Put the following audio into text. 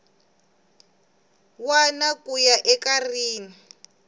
wana ku ya eka rin